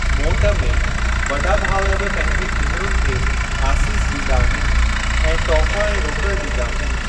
मोट में, वॾा भाउर बि पंहिंजी भेनरुनि खे आसीस ॾींदा आहिनि ऐं तोहफ़ा ऐं रोकड़ ॾींदा आहिनि।